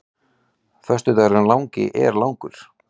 Föstudagurinn langi er langur.